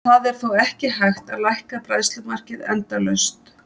Það er þó ekki hægt að lækka bræðslumarkið endalaust.